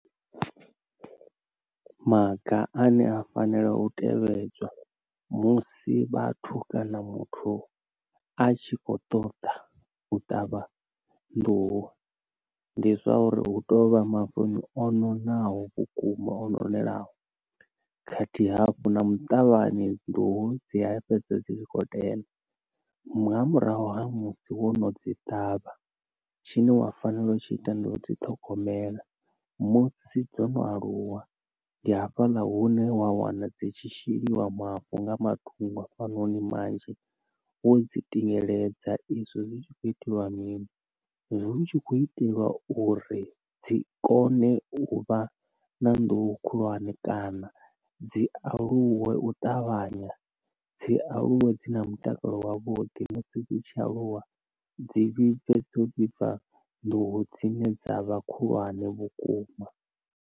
Maga ane a fanela u tevhedzwa musi vhathu kana muthu a tshi kho ṱoḓa u ṱavha nḓuhu, ndi zwa uri hu tovha mavuni ononaho vhukuma ononelaho khathihi hafhu na muṱavhani nḓuhu dzi a fhedza dzi tshi kho tenda. Nga murahu ha musi wo no dzi ṱavha tshine wa fanela u tshi ita ndi u dzi ṱhogomela musi dzo no aluwa, ndi hafhaḽa hune wa wana dzi tshi sheliwa mavu nga matungo ha fhanoni manzhi wo dzi tingeledza, izwo zwi tshi khou iteliwa mini zwi hu tshi kho itelwa uri dzi kone u vha na nḓuhu khulwane kana dzi aluwe u ṱavhanya, dzi aluwe dzi na mutakalo wavhuḓi musi dzi tshi aluwa dzi vhibve dzo vhibva nḓuhu dzine dza vha khulwane vhukuma.